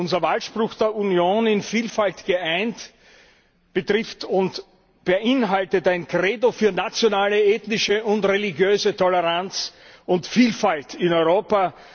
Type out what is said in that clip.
Unser Wahlspruch der Union In Vielfalt geeint betrifft und beinhaltet ein Credo für nationale, ethnische und religiöse Toleranz und Vielfalt in Europa.